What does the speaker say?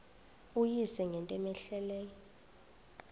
uyise ngento cmehleleyo